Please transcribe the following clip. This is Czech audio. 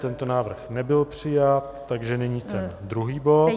Tento návrh nebyl přijat, takže nyní ten druhý bod.